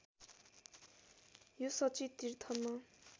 यो शची तीर्थमा